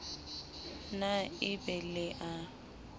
na e be le a